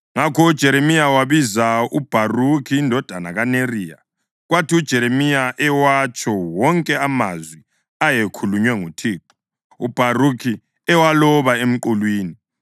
Ngakho uJeremiya wabiza uBharukhi indodana kaNeriya. Kwathi uJeremiya ewatsho wonke amazwi ayekhulunywe nguThixo, uBharukhi ewaloba emqulwini.